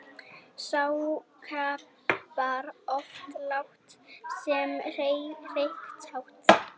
Sá hrapar oft lágt sem hreykist hátt.